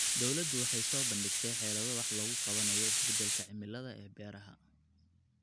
Dawladdu waxay soo bandhigtay xeelado wax looga qabanayo isbeddelka cimilada ee beeraha.